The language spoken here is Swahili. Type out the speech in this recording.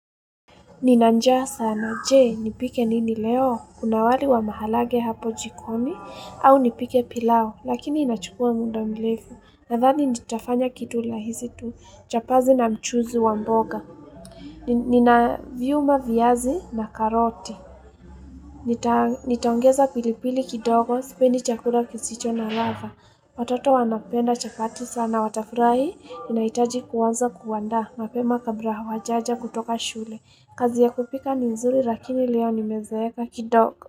Nina njaa sana, jee, nipike nini leo, kuna wali wa maharage hapo jikoni, au nipike pilau, lakini inachukua muda mrefu, nadhani nitafanya kitu rahisi tu chapati na mchuzi wa mboga. Ninaviuma viazi na karoti. Nitaongeza pilipili kidogo, sipendi chakula kisicho na ladha. Watoto wanapenda chapati sana, watafurahi, inaitaji kuanza kuandaa, mapema kabla hawajaja kutoka shule. Kazi ya kupika ni nzuri lakini leo nimezeeka kidogo.